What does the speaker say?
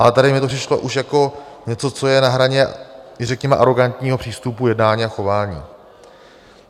Ale tady mi to přišlo už jako něco, co je na hraně, řekněme, arogantního přístupu jednání a chování.